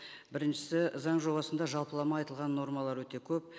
біріншісі заң жобасында жалпылама айтылған нормалар өте көп